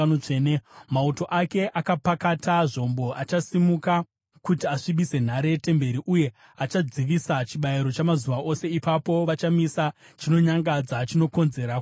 “Mauto ake akapakata zvombo achasimuka kuti asvibise nhare yetemberi uye achadzivisa chibayiro chamazuva ose. Ipapo vachamisa chinonyangadza chinokonzera kuparadzwa.